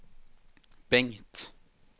Bengt